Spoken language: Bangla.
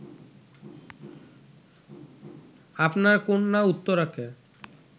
আপনার কন্যা উত্তরাকে